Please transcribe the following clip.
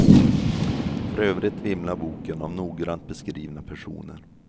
För övrigt vimlar boken av noggrant beskrivna personer.